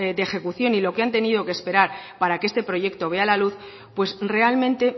de ejecución y lo que han tenido que esperar para que este proyecto vea la luz pues realmente